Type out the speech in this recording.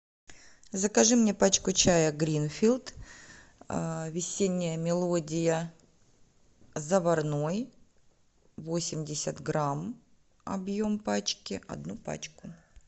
закажи мне пачку чая гринфилд весенняя мелодия заварной восемьдесят грамм объем пачки одну пачку